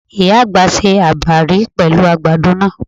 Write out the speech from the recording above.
Ìyá àgbà se àbàrí pẹ̀lú àgbàdo náà.